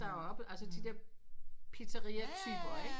Der oppe altså de pizzaria typer ikke